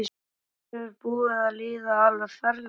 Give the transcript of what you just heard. Mér er búið að líða alveg ferlega.